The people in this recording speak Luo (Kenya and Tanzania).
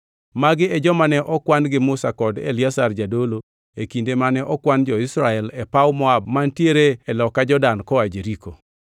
Magi e joma ne okwan gi Musa kod Eliazar jadolo e kinde mane okwan jo-Israel e paw Moab mantiere e loka Jordan koa Jeriko.